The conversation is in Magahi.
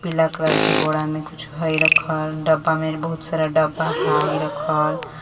पीला कलर के बोरा में कुछ हय रखल डब्बा मे बहुत सारा डब्बा हाय रखल।